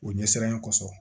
O ɲɛsiranɲɛ kɔsɔn